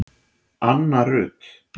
Anna Rut